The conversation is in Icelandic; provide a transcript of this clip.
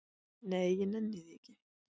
"""Nei, ég nenni því ekki"""